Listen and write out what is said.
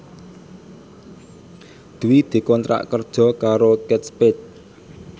Dwi dikontrak kerja karo Kate Spade